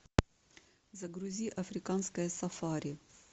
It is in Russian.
загрузи африканское сафари